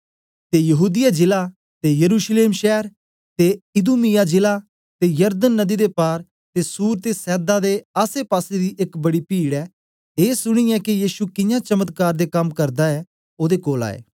ते यहूदीया जिला ते यरूशलेम शैर ते इदूमिया जिला ते यरदन नदी दे पार ते सूर ते सैदा दे आसेपासे दी एक बड़ी पीड ए सुनीयै के यीशु कियां चमत्कार दे कम करदा ऐ ओदे कोल आए